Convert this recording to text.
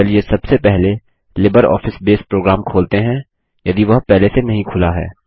चलिए सबसे पहले लिबरऑफिस बेस प्रोग्राम खोलते हैं यदि वह पहले से नहीं खुला है